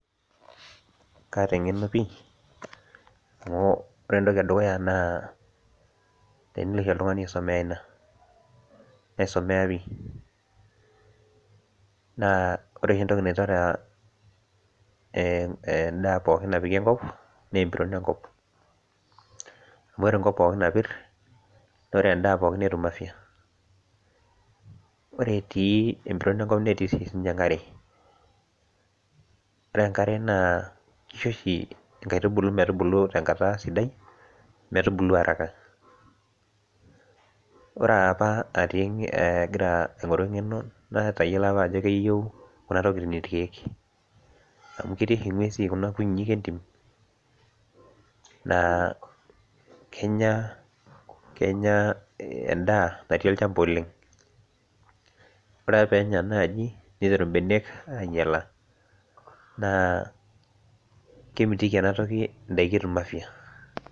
Kaata eng'eno pii amu ore entoki edukuya naa tenilo oshi oltung'ani aisomea ina naisomea pii naa ore oshi entoki naitore uh eh endaa pooki napiki enkop naa empiron enkop amu ore enkop pookin napirr nore endaa pookin netum afya ore etii empiron enkop netii sii sininye enkare ore enkare naa kisho oshi inkaitubulu metubulu tenkata sidai metubulu araka ore apa atii agira aing'oru eng'eno natayiolo apa ajp keyieu kuna tokiting irkeek amu ketii oshi ing'uesin kuna kutitik entim naa kenya kenya endaa natii olchamba oleng ore peenya naaji niteru imbenek ainyiala naa kemitiki enatoki indaiki etum afya.